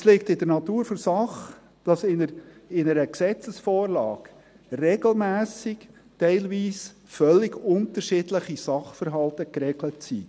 Es liegt in der Natur der Sache, dass in einer Gesetzesvorlage regelmässig, teilweise völlig unterschiedliche Sachverhalte geregelt sind.